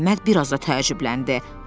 Əhməd biraz da təəccübləndi.